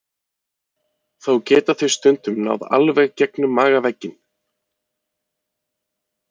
Þó geta þau stundum náð alveg gegnum magavegginn.